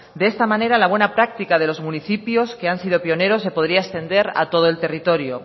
de esta manera la buena práctica de los municipios que han sido pioneros se podría extender a todo el territorio